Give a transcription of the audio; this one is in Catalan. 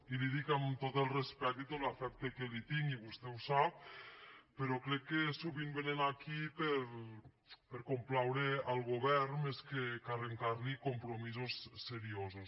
i li ho dic amb tot el respecte i tot l’afecte que li tinc i vostè ho sap però crec que sovint vénen aquí per complaure el govern més que arrencar li compromisos seriosos